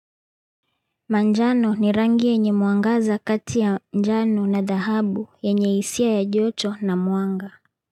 Manjano ni rangi yenye muangaza kati ya njano na dahabu yenye hisia ya joto na mwanga.